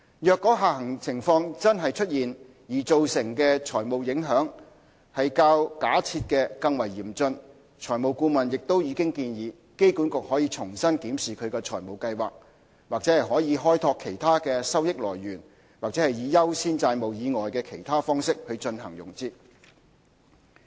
若下行情況真的出現而造成的財務影響較假設的更為嚴峻，財務顧問亦已建議機管局可重新檢視其財務計劃——或可開拓其他的收益來源，或以優先債務以外的其他方式進行融資。